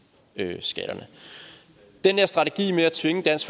skatterne den der strategi med at tvinge dansk